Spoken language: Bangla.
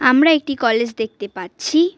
আমরা একটি কলেজ দেখতে পাচ্ছি।